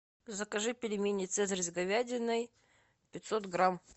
закажи пельмени цезарь с говядиной пятьсот грамм